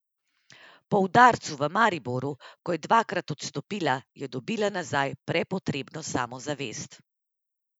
Po udarcu v Mariboru, ko je dvakrat odstopila, je dobila nazaj prepotrebno samozavest.